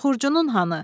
Bəs Xurcunun hanı?